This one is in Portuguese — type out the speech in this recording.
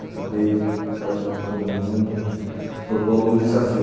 Acabei tomando um, propondo um desafio.